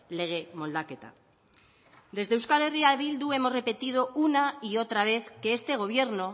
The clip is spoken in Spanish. lege moldaketa desde euskal herria bildu hemos repetido una y otra vez que este gobierno